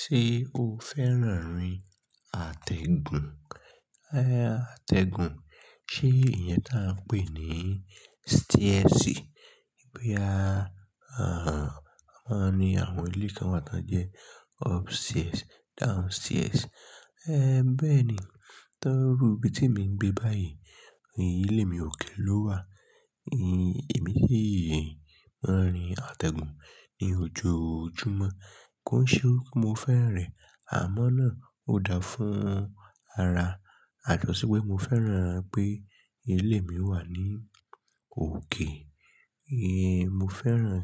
Ṣé o fẹ́ràn rin atẹ́gùn? Aáá, atẹ́gùn. Ṣé ìyẹn ta n pé ni stairs? Bo ya, a máa ń ní àwọn ilé kan wa tó ń jẹ́ upstairs, downstairs. É bẹ́ẹ̀ni. Torí iru ibi tí emi ń gbé báyìí, ilé mi òkè ló wà. Èmi sì ma ń rìn atẹ́gùn ní ojoojúmọ́. Kói ṣe pe mo fẹ́e rin, àmọ́ náà ó dáa fún ara. Yàtọ̀ sí pé mo fẹ́ràn pé ilé mi wà ní òkè. Ee, mo fẹ́ràn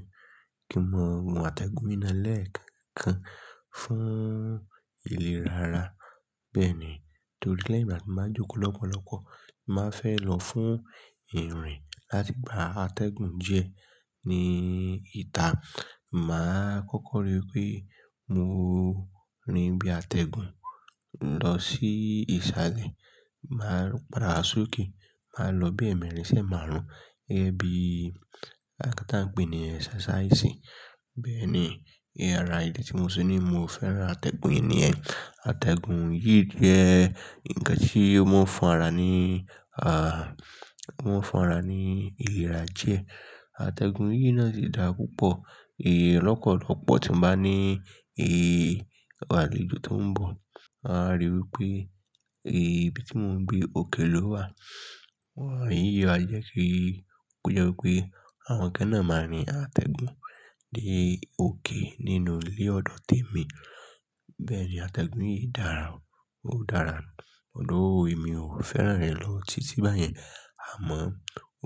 kí n máa gun atẹ́gùn yi náà lẹ̀ekan kan fún ìlera ara. Bẹ́ẹ̀ ni, torí lẹ́yìn ìgbà tí mo bá jókòó lọ́pọ̀lọpọ̀, màá fẹ́ lọ fún irin láti gba atẹ́gùn diẹ ní ìta. Màá kọ́kọ́ rí pé mo rìn bí atẹ́gùn lọ sí ìsàlẹ̀, máa padà sókè, màá lọ bí ẹ̀emẹ̀rìn sẹ́ẹ̀màrún, gẹ́gẹ́ bí nǹkan ta n pé ní exercise. Bẹ́ẹ̀ ni, ara ìdí tí mo se ní mo fẹ́ràn atẹ́gùn yìí ni yen. Atẹ́gùn yìí jẹ́ ǹkan tí omọ́n fún ara ní, à, omọ́n fún ara ní ìlera diẹ. Atẹ́gùn yìí náà sì dára púpọ̀. Lọ́pọ̀lọ́pọ̀ tí ń bá ní, ẹ, àwọn àlẹ̀jọ tó ń bọ̀, won a rí wi pé, ẹ, ibi tí mò ń gbé òkè ló wà. Wọ́n yóò á jẹ́ kí kó jẹ́ wí pé àwọn kan náà máa rìn atẹ́gùn dé òkè nínú ilé ọdọ temi. Bẹ́ẹ̀ ni atẹ́gùn yìí dára, ó dára. Although, èmi ò fẹ́ràn rẹ̀ ló ti tí báyẹn, àmọ́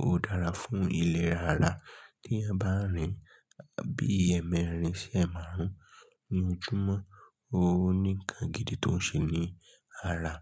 ó dára fún ìlera ara. Tí a bá ń rìn bí ẹ̀emẹ̀rìn sẹ́ẹ̀màrún ní ojúmọ́, ó ní ǹkan gidi tó ń ṣe ní ara.